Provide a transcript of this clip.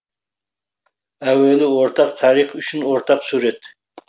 әуелі ортақ тарих үшін ортақ сурет